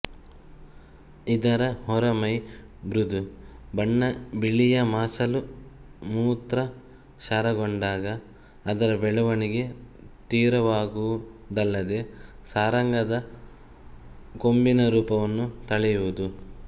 ಇದರ ಹೊರಮೈ ಮೃದು ಬಣ್ಣ ಬಿಳಿಯ ಮಾಸಲು ಮೂತ್ರ ಕ್ಷಾರಗೊಂಡಾಗ ಅದರ ಬೆಳೆವಣಿಗೆ ತೀವ್ರವಾಗುವುದಲ್ಲದೆ ಸಾರಂಗದ ಕೊಂಬಿನ ರೂಪವನ್ನು ತಳೆಯುವುದು